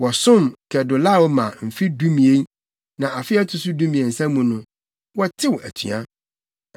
Wɔsom Kedorlaomer mfe dumien, na afe a ɛto so dumiɛnsa mu no, wɔtew atua.